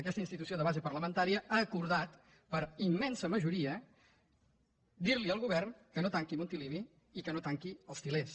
aquesta institució de base parlamentària ha acordat per immensa majoria dir al govern que no tanqui montilivi i que no tanqui els til·lers